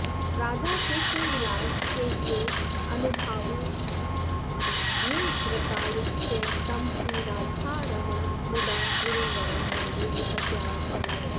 राधाकृष्णविलासकेल्यनुभवादुन्निद्रता यस्य तं श्रीराधारमणं मुदा गुरुवरं वन्दे निपत्यावनौ